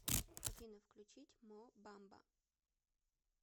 афина включить мо бамба